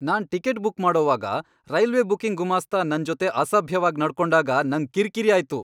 ನಾನ್ ticket book ಮಾಡೋವಾಗ railway booking ಗುಮಾಸ್ತ ನನ್ ಜೊತೆ ಅಸಭ್ಯವಾಗ್ ನಡ್ಕೊಂಡಾಗ ನಂಗ್ ಕಿರ್ಕಿರಿ ಆಯ್ತು.